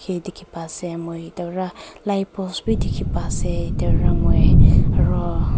ede dikhi pai ase moi ete para light post b dikhi pai ase ete para moi aro--